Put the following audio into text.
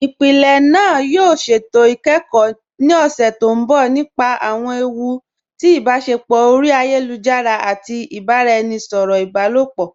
Ìpílẹ̀ náà yóò ṣétò ikẹ́kọ ni ọṣẹ̀ tó nbọ̀ nípa awọn èwù tì ibáṣẹpọ̀ ori ayélujara àti ibaràẹnisọ̀rọ ibàlọpọ.